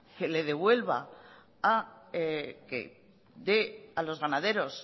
que le devuelva que dé a los ganaderos